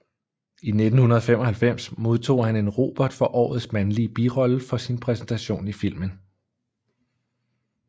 I 1995 modtog han en Robert for Årets mandlige birolle for sin præsentation i filmen